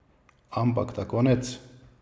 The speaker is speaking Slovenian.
Ampak ta konec!